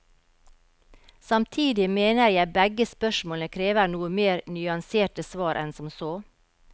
Samtidig mener jeg begge spørsmålene krever noe mer nyanserte svar enn som så.